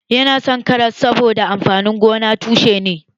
Yana son karas saboda amfanin gonan tushe ne